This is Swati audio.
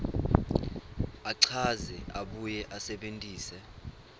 achaze abuye asebentise